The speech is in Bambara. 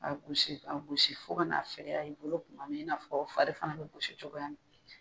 A gosi ka gosi fo ka n'a fɛgɛya i bolo kuma min i n'a fɔ fari fana bɛ gosi cogoya min.